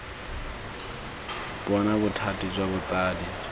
bona bothati jwa botsadi jwa